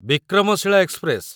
Vikramshila express